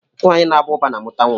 Nwaanyị na Aba uba na amụta nwa.